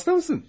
Xəstəsən?